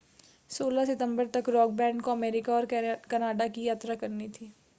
16 सितंबर तक rock band को अमेरिका और कनाडा की यात्रा करनी थी